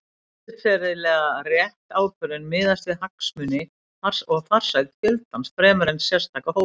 Siðferðilega rétt ákvörðun miðast því við hagsmuni og farsæld fjöldans fremur en sérstakra hópa.